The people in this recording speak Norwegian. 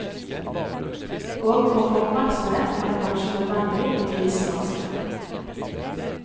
Og for å få oppmerksomhet er det kanskje nødvendig å krisemaksimere.